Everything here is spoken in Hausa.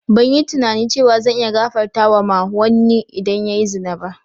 Ban yi tunani cewa zan iya gafartawa ma wanni idan ya yi zina ba.